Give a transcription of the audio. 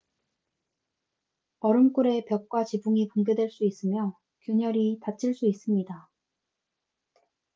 얼음굴의 벽과 지붕이 붕괴될 수 있으며 균열이 닫힐 수 있습니다